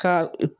Ka